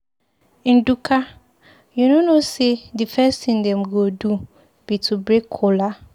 Ndụka, you no know say the first thing dem go do be to break kola.